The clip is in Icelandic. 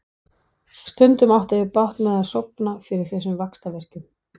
Stundum átti ég bágt með að sofna fyrir þessum vaxtarverkjum.